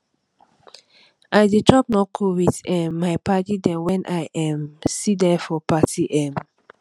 i dey chop knuckle with um my paddy dem wen i um see dey for party um